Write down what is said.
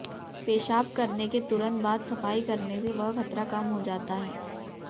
पेशाब करने के तुरंत बाद सफाई करने से वह खतरा कम हो जाता है